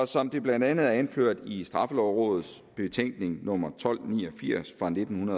som det blandt andet er anført i straffelovrådets betænkning nummer tolv ni og firs fra nitten